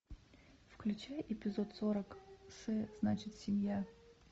включай эпизод сорок с значит семья